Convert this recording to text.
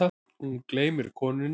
Hún gleymir konunni.